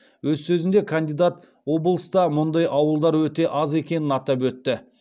өз сөзінде кандидат облыста мұндай ауылдар өте аз екенін атап өтті